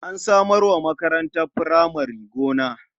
An samar wa makarantar furamare gona.